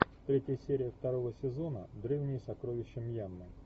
третья серия второго сезона древние сокровища мьянмы